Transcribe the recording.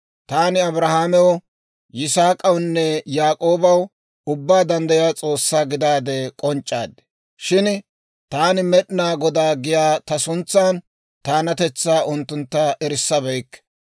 Taani Abrahaamew, Yisaak'awunne Yaak'oobaw Ubbaa Danddayiyaa S'oossaa gidaade k'onc'c'aad; shin Taani, Med'inaa Godaa giyaa ta suntsan, taanatetsaa unttuntta erissabeykke.